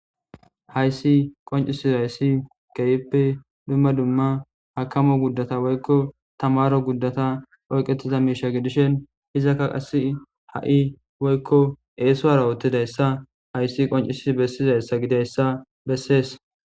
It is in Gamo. Hayssi qonccisizayssi keehippe dumma dumma akkamo guddata woykko tamaaro guddatan oyqettida miishshata gidishin izaka qassi ha'i woykko eesuwara oottidayssa hayssi qonccisidi bessizayssa gidiyayssa bessees.